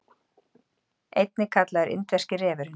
einnig kallaður indverski refurinn